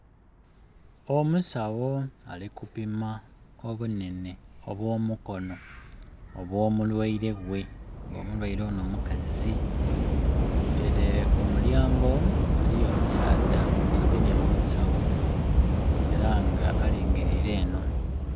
Omusagho ali kupima obunhenhe obw'omukono ogw'omulwaile ghe. Mulwaile ono mukazi, ere ku mulyango eriyo omusaadha agemye mu nsawo era nga alingirire eno.